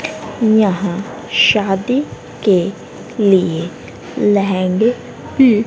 यहां शादी के लिए लहंगे --